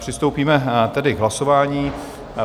Přistoupíme tedy k hlasování.